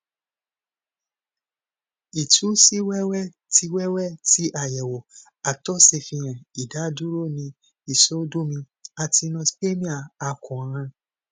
itu si wẹwẹ ti wẹwẹ ti ayewo àtọ safihan idaduro ni isodomi asthenospermia akoran